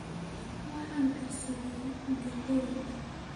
Waxaan karsaday galley